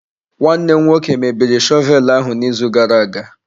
Nwanne m nwoke mebiri shọvel ahụ n'izu gara aga.